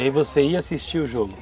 E aí você ia assistir o jogo?